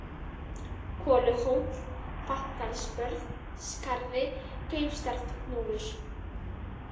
Koluhóll, Vatnsdalsbörð, Skarði, Kaupstaðarhnúfur